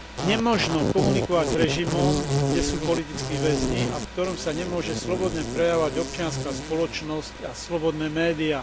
Nemožno komunikovať s režimom, kde sú politickí väzni a v ktorom sa nemôže slobodne prejavovať občianska spoločnosť a slobodné médiá.